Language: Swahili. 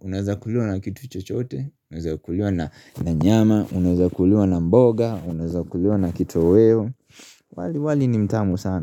unaza kuliwa na kitu chochote unaza kuliwa na nyama unaza kuliwa na mboga unaza kuliwa na kitoweo. Wali wali ni mtamu saana sana.